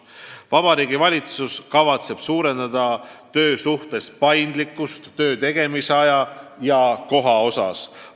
" Vabariigi Valitsus kavatseb suurendada töösuhetes paindlikkust töö tegemise aja ja koha osas.